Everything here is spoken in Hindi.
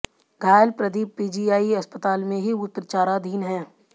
घायल प्रदीप पीजीआई अस्पताल में ही उपचाराधीन है